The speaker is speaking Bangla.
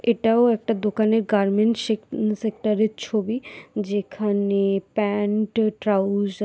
এটাও একটা দোকানের গার্মেন্টস সেক উম সেক্টরের ছবি যেখানে প্যান্ট ট্রাউজার ।